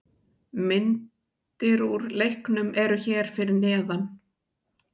Myndir úr leiknum eru hér fyrir neðan